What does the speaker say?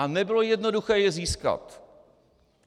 A nebylo jednoduché je získat.